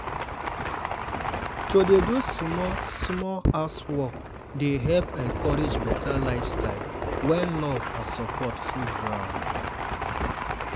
to dey do small-small housework dey help encourage better lifestyle when love and support full ground.